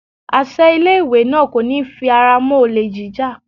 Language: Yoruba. Àṣẹ ilé ìwé náà kò ní fi ara mọ́ olè jíjà.